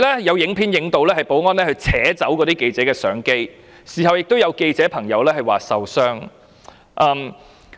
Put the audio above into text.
有記者拍攝到一名保安人員扯掉記者相機的影片，事後亦有記者表示受傷。